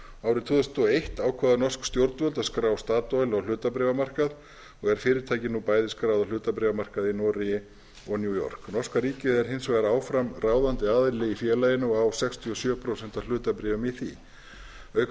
árið tvö þúsund og eitt ákváðu norsk stjórnvöld að skrá statoil á hlutabréfamarkað og er fyrirtækið nú bæði skráð á hlutabréfamarkaði í noregi og í new york norska ríkið er hins vegar áfram ráðandi aðili í félaginu og á sextíu og sjö prósent af hlutabréfum í því auk